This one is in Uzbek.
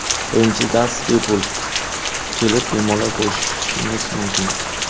Birinchi dars bepul, kelib bemalol ko‘rishingiz mumkin.